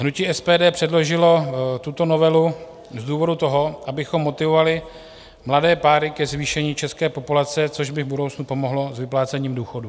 Hnutí SPD předložilo tuto novelu z toho důvodu, abychom motivovali mladé páry ke zvýšení české populace, což by v budoucnu pomohlo s vyplácením důchodů.